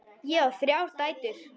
Ég á þrjár dætur.